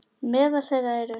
Meðal þeirra eru